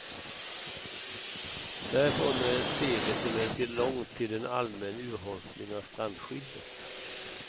Därifrån är steget emellertid långt till en allmän urholkning av strandskyddet.